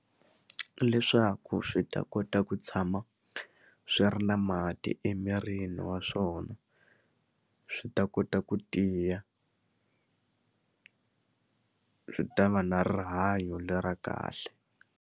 Leswaku swi ta kota ku tshama swi ri na mati emirini wa swona swi ta kota ku tiya swi ta va na rihanyo le ra kahle.